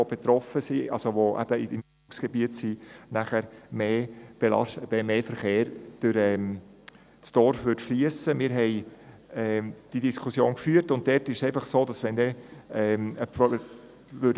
Es stellte sich die Frage, ob das Einzugsgebiet, also die betroffenen Dörfer, nicht noch mehr belastet würden.